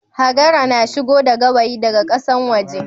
Hagara na shigo da gawayi da ga kasan waje